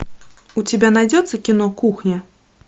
у тебя найдется кино кухня